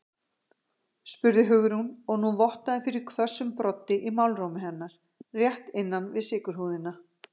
spurði Hugrún og nú vottaði fyrir hvössum broddi í málrómi hennar, rétt innan við sykurhúðina.